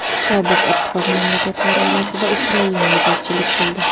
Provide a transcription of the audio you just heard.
Sobiq ittifoq mamlakatlari orasida Ukraina yetakchilik qildi.